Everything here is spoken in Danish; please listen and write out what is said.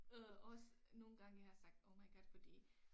Øh også nogle gange jeg har sagt oh my god fordi